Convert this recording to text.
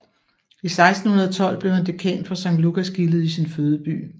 I 1612 blev han dekan for Sankt Lukasgildet i sin fødeby